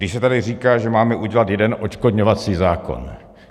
Když se tady říká, že máme udělat jeden odškodňovací zákon.